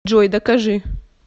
джой докажи